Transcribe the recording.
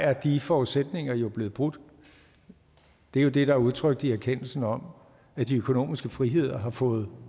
er de forudsætninger jo blevet brudt det er det der er udtrykt i erkendelsen om at de økonomiske friheder har fået